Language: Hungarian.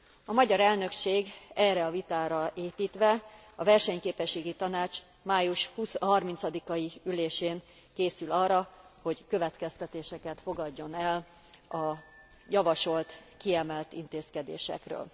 A magyar elnökség erre a vitára építve a Versenyképességi Tanács május 30 i ülésén készül arra, hogy következtetéseket fogadjon el a javasolt kiemelt intézkedésekről.